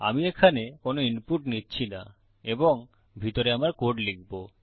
আমি এখানে কোনো ইনপুট নিচ্ছি না এবং ভিতরে আমার কোড লিখবো